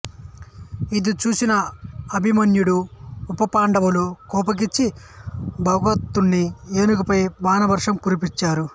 ఇది చూసిన అభిమన్యుడు ఉప పాండవులు కోపించి భగదత్తుని ఏనుగుపై బాణవర్షం కురిపించారు